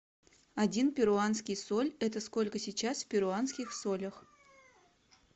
один перуанский соль это сколько сейчас в перуанских солях